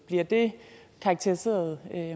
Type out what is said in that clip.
bliver det karakteriseret